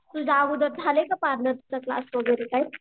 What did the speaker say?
तुझा अगोदर झालंय का पार्लरचं क्लास वगैरे काय?